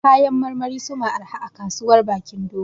Kayan marmari su ma arha a Kasuwar Bakin Dogo